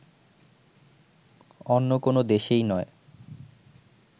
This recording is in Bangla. অন্য কোন দেশেই নয়